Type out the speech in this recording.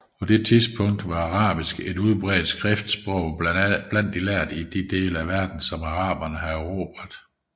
På denne tid var arabisk et udbredt skriftsprog blandt lærde i de dele af verden som araberne havde erobret